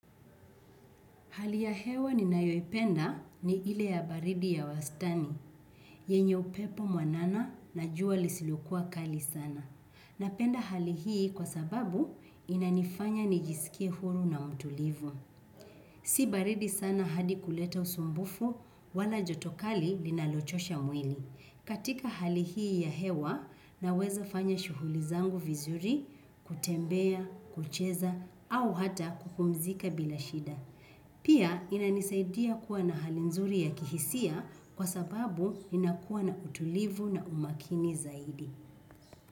Hali ya hewa ninayoipenda ni ile ya baridi ya wastani, yenye upepo mwanana na jua lisilokuwa kali sana. Napenda hali hii kwa sababu inanifanya nijisikie huru na mtulivu. Si baridi sana hadi kuleta usumbufu wala joto kali linalochosha mwili. Katika hali hii ya hewa naweza fanya shughuli zangu vizuri, kutembea, kucheza au hata kupumzika bila shida. Pia inanisaidia kuwa na hali nzuri ya kihisia kwa sababu ninakuwa na utulivu na umakini zaidi.